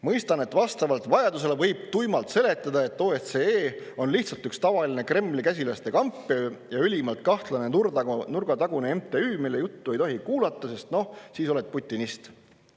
Mõistan, et vastavalt vajadusele võib tuimalt seletada, et OSCE on lihtsalt üks tavaline Kremli käsilaste kamp ja ülimalt kahtlane nurgatagune MTÜ, mille juttu ei tohi kuulata, sest noh, siis oled putinist.